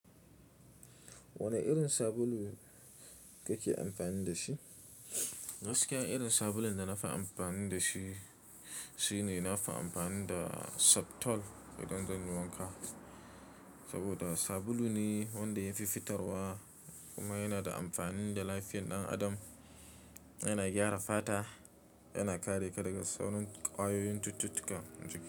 Wane irin sabulu kake amfani da shi? Gaskiya irin sabulun da nafi amfani dashi, shine nafi amfani da Septol idan zanyi wanka. Saboda sabulu ne wanda ya fi fitarwa kuma yana da amfani ga lafiyar ɗan adam. Yana gyara fata, yana kare ka daga sauran ƙwayoyin cututtuka.